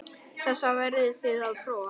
Þessar verðið þið að prófa.